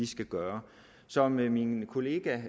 skal gøre som min kollega